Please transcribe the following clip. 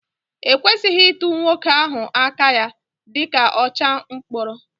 E kwesịghị ịtụ nwoke ahụ aka ya dị ọcha mkpọrọ